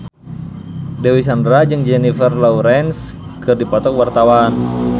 Dewi Sandra jeung Jennifer Lawrence keur dipoto ku wartawan